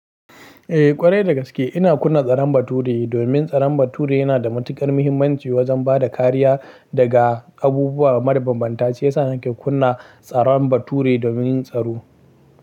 Eh ƙwarai da gaske ina kunna tsaron bature domin tsaron bature yana da matuƙar muhimmanci wajen ba da kariya daga abubuwa marar bambanta shiyasa nake kunna tsaron bature domin tsaro.